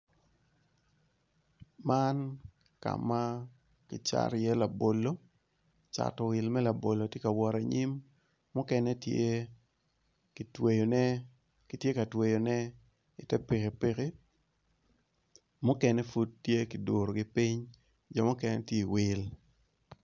Man kam kicato i ye labolo cato wil me labolo tye ka wot anyim mukene tye kitweyone kityeka twoyone i ter pikipiki mukene pud tye kidurogi ping jomukene tye wil.